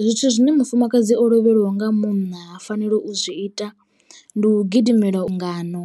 Zwithu zwine mufumakadzi o lovheliwa nga munna a fanela u zwi ita ndi u gidimela lungano